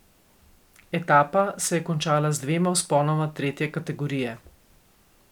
Etapa se je končala z dvema vzponoma tretje kategorije.